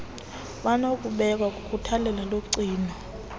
banokubekwa kukhathalelo logcino